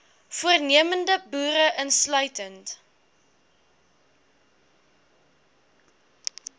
voornemende boere insluitend